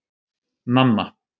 Nanna